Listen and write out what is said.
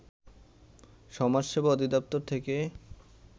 সমাজসেবা অধিদপ্তর থেকে